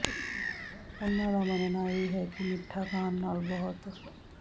ਉਨ੍ਹਾਂ ਦਾ ਮੰਨਣਾ ਇਹ ਹੈ ਕਿ ਮਿੱਠਾ ਖਾਣ ਨਾਲ ਬਹੁਤ